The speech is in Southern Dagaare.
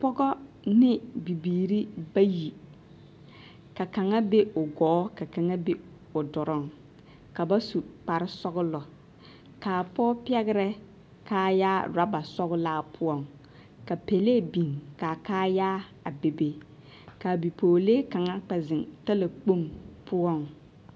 Pɔge ne bibiiri bayi ka kaŋa be o gɔɔ ka kaŋa be o doloŋ ka ba su kparesɔglɔ k,a pɔge pɛgrɛ kaayaa orɔba sɔglaa poɔŋ ka pɛlee biŋ ka a kaayaa a bebe ka a bipɔgelee kaŋa kpɛ zeŋ talakpoŋ poɔŋ.